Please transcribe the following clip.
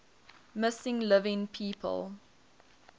missing living people